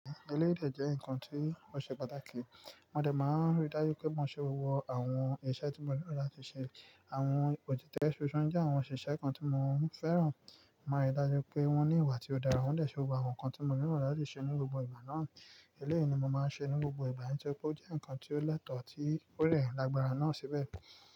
Eléyìí dẹ̀ jẹ́ ǹkan tí ó ṣe pàtàkì. Mo dé máa ń rí dájú pé mò ń ṣe gbogbo àwọn iṣẹ́ tí mo nílò láti ṣe. Àwọn òṣìṣẹ́ ṣiṣẹ jẹ́ àwọn òṣìṣẹ́ kan tí mò ń fẹ́ràn. Mo ríi dájú pé wọ́n ní ìwà tí ó dára, wọ́n dẹ̀ ṣe gbogbo àwọn nǹkan tí mo nílò láti ṣe ní gbogbo ìgbà náà. Eléyìí ni mo máa ń ṣe ní gbogbo ìgbà, nítorí pé ó jẹ́ ǹkan tí ó lẹ́tọ̀ tí ó rẹ́'yàn lágbára náà síbẹ̀